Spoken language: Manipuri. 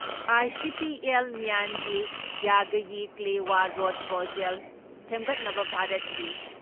ꯑꯥꯏꯁꯤꯄꯤ ꯑꯦꯜ ꯃ꯭ꯌꯥꯟꯒꯤ ꯌꯥꯒꯌꯤ ꯀꯂꯦꯋꯥ ꯔꯣꯠ ꯄ꯭ꯔꯣꯖꯦꯜ ꯁꯦꯝꯒꯠꯅꯕ ꯚꯥꯔꯠꯀꯤ